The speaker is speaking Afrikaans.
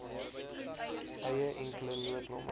eie enkele noodnommer